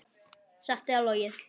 Satt eða logið.